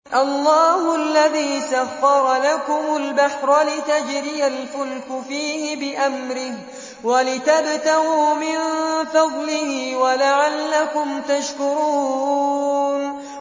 ۞ اللَّهُ الَّذِي سَخَّرَ لَكُمُ الْبَحْرَ لِتَجْرِيَ الْفُلْكُ فِيهِ بِأَمْرِهِ وَلِتَبْتَغُوا مِن فَضْلِهِ وَلَعَلَّكُمْ تَشْكُرُونَ